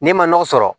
N'i ma nɔgɔ sɔrɔ